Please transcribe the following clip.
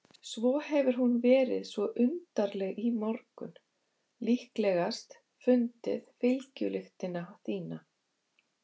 Svo hefur hún verið svo undarleg í morgun, líklegast fundið fylgjulyktina þína.